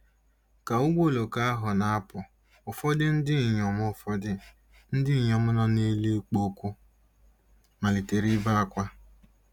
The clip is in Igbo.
Ka ụgbọ oloko ahụ na-apụ, ụfọdụ ndị inyom ụfọdụ ndị inyom nọ n'elu ikpo okwu malitere ibe ákwá.